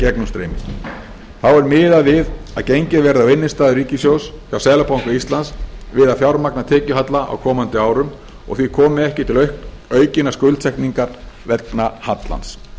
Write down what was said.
gegnumstreymi þá er miðað við að gengið verði á innstæður ríkissjóðs hjá seðlabanka íslands við að fjármagna tekjuhalla á komandi árum og því komi ekki til aukinnar skuldsetningar vegna hallans